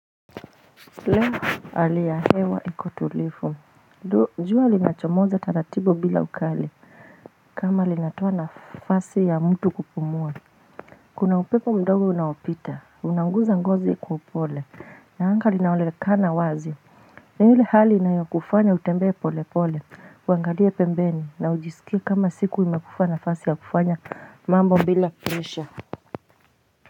Leo ali ya hewa iko tulifu jua linachomoza taratibu bila ukali kama linatoa nafasi ya mtu kupumua kuna upepo mdogo unaopita unaunguza ngozi kwa upole na anga linaonekana wazi na ile hali inayokufanya utembe pole pole huangalie pembeni na ujisikie kama siku imakupa nafasi ya kufanya mambo bila presha.